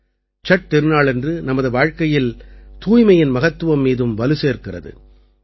சட் திருநாளானது நமது வாழ்க்கையில் தூய்மையின் மகத்துவத்தின் மீதும் வலுசேர்க்கிறது